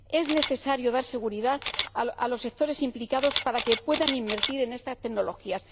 Es necesario dar seguridad a los sectores implicados para que puedan invertir en estas tecnologías.